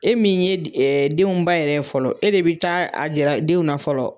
E min ye denw ba yɛrɛ fɔlɔ, e de bɛ taa a jira denw na fɔlɔ.